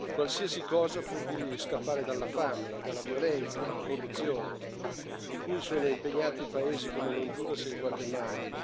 Qualsiasi cosa pur di scappare dalla fame, dalla violenza, dalla corruzione di cui sono impregnati i paesi come l'Honduras e il Guatemala.